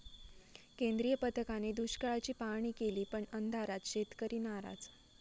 केंद्रीय पथकाने दुष्काळाची पाहाणी केली पण अंधारात, शेतकरी नाराज!